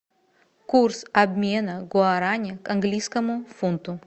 курс обмена гуарани к английскому фунту